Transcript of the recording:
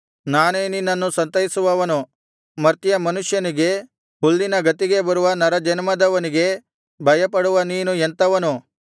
ನಾನೇ ನಾನೇ ನಿನ್ನನ್ನು ಸಂತೈಸುವವನು ಮರ್ತ್ಯಮನುಷ್ಯನಿಗೆ ಹುಲ್ಲಿನ ಗತಿಗೆ ಬರುವ ನರಜನ್ಮದವನಿಗೆ ಭಯಪಡುವ ನೀನು ಎಂಥವನು